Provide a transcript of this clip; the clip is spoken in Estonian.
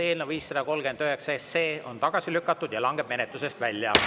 Eelnõu 539 on tagasi lükatud ja langeb menetlusest välja.